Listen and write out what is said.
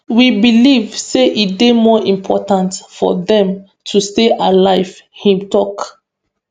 we believe say e dey more important for dem to stay alive e tok